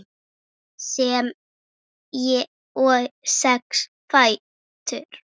sem og sex fætur.